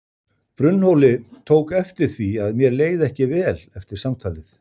Brunnhóli tók eftir því að mér leið ekki vel eftir samtalið.